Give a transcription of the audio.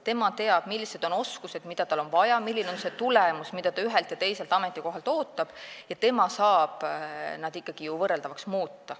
Tema teab, millised on oskused, mida tal on vaja, milline on see tulemus, mida ta ühelt ja teiselt ametikohalt ootab, ja tema saab need ikkagi ju võrreldavaks muuta.